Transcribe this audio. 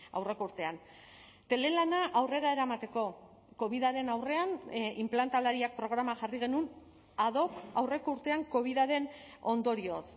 aurreko urtean telelana aurrera eramateko covidaren aurrean inplantalariak programa jarri genuen ad hoc aurreko urtean covidaren ondorioz